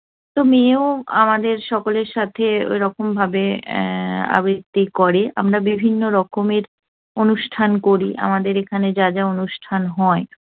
তো মেয়েও আমাদের সকলের সাথে ওরকম ভাবে উহ আবৃত্তি করে। আমরা বিভিন্নরকমের অনুষ্ঠান করি। আমাদের এখানে যা যা অনুষ্ঠান হয়